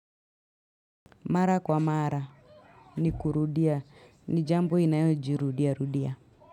Mara kwa mara ni kurudia ni jambo inayojirudiarudia.